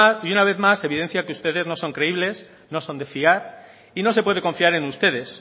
y una vez más se evidencia que ustedes no son creíbles no son de fiar y no se puede confiar en ustedes